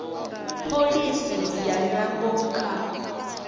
pholisi ya nyambo kha